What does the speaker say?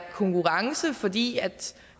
konkurrence fordi